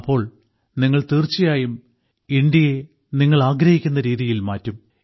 അപ്പോൾ നിങ്ങൾ തീർച്ചയായും ഇന്ത്യയെ നിങ്ങൾ ആഗ്രഹിക്കുന്ന രീതിയിൽ മാറ്റും